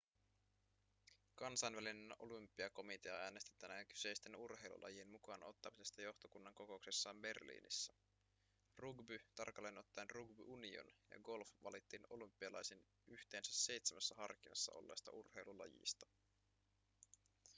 kansainvälinen olympiakomitea äänesti tänään kyseisten urheilulajien mukaan ottamisesta johtokunnan kokouksessaan berliinissä rugby tarkalleen ottaen rugby union ja golf valittiin olympialaisiin yhteensä seitsemässä harkinnassa olleesta urheilulajista